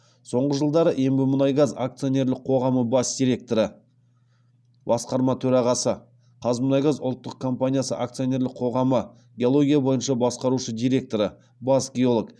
соңғы жылдары ембімұнайгаз акционерлік қоғамы бас директоры қазмұнайгаз ұлттық компаниясы акционерлік қоғамы геология бойынша басқарушы директоры бас геолог